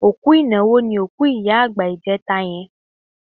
Òkú ìnáwó ni òkú ìyá àgbà ìjẹta yẹn.